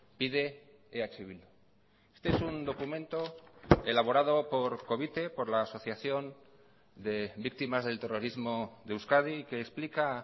pide eh bildu este es un documento elaborado por covite por la asociación de víctimas del terrorismo de euskadi que explica